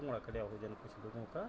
पुंगडा कर्या होल्यल कुछ लोगों का।